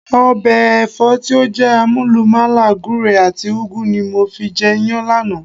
Ọbẹ̀ Ẹ̀fọ́ tí ó jé àmúlùmàlà gùre and ùgu ni mo fi jẹ Iyán lánàá